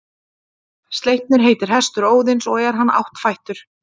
Sleipnir heitir hestur Óðins og er hann áttfættur.